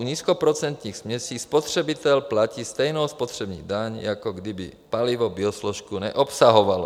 U nízkoprocentních směsí spotřebitel platí stejnou spotřební daň, jako kdyby palivo biosložku neobsahovalo.